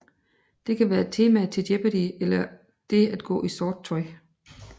Det kan være temaet til Jeopardy eller det at gå i sort tøj